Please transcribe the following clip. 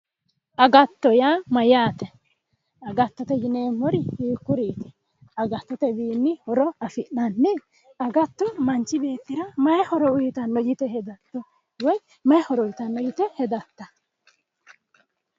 Agatto yaa mayate, agattote yinneemmori hiikkuriti, agattotewinni horo afi'nanni, agatto manchi beettira maayi horo afidhino yte hedatto woyi mayi horo uyittano yte hedatta ?